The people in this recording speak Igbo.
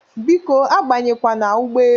Biko abanyekwana ụgbọelu!